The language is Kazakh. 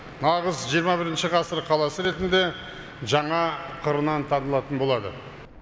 нағыз жиырма бірінші ғасыр қаласы ретінде жаңа қырынан танылатын болады